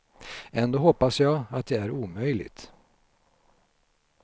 Ändå hoppas jag att det är omöjligt.